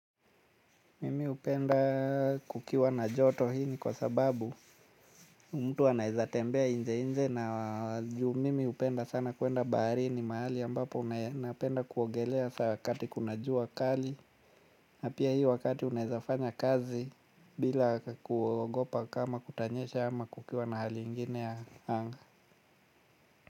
Mimi hupenda kukiwa na joto hii ni kwa sababu mtu anaweza tembea nje nje na juu mimi hupenda sana kuenda baharini mahali ambapo napenda kuogelea saa wakati kuna jua kali na pia hii wakati unawezafanya kazi bila kuogopa kama kutanyesha ama kukiwa na hali ingine ya anga.